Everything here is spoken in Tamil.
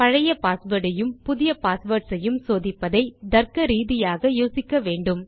பழைய பாஸ்வேர்ட் ஐயும் புதிய பாஸ்வேர்ட்ஸ் ஐயும் சோதிப்பதை தர்க்க ரீதியாக யோசிக்க வேண்டும்